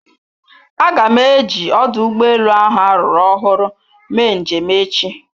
Aga m eji ọdụ ụgbọ elu ahụ ruru ọhụrụ mee njem echi.